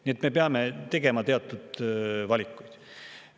Nii et me peame tegema teatud valikuid.